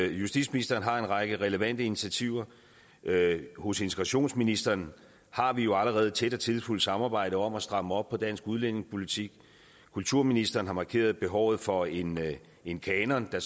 justitsministeren har en række relevante initiativer hos integrationsministeren har vi jo allerede et tæt og tillidsfuldt samarbejde om at stramme op på dansk udlændingepolitik kulturministeren har markeret behovet for en en kanon der